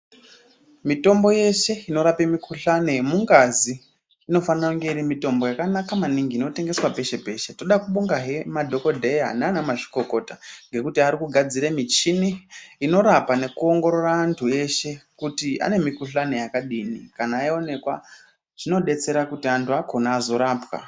Mitombo yeshe inorape mikhuhlani yemungazi inofane kunge iri mitombo yakanaka maningi inotengeswe peshe peshe toda kubonga he madhokodheya nanamzvikokota ngekuti arikugadzire michini inorapa nekuongorora antu eshe kuti ane mikhuhlani yakadini kana yawonekwa zvinodetsera kuti anhu akona azorapwa.